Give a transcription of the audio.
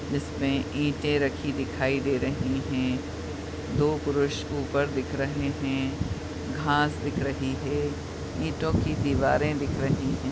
जिसमें ईंटें रखी दिखाई दे रहीं हैं दो पुरुष ऊपर दिख रहें हैं घास दिख रही है ईटों की दीवारें दिख रही हैं।